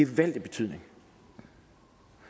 gevaldig betydning